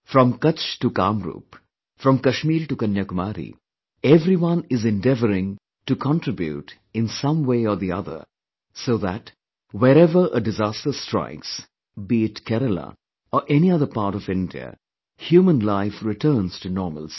From Kutch to Kamrup, from Kashmir to Kanyakumari, everyone is endeavoring to contribute in some way or the other so that wherever a disaster strikes, be it Kerala or any other part of India, human life returns to normalcy